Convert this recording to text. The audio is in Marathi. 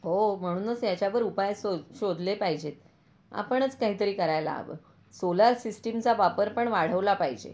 हो म्हणूनच ह्याचावर उपाय शो शोधले पाहिजेत. आपणच काहीतरी करायला हवं. सोलार सिस्टम चा वापर पण वाढवला पाहिजे.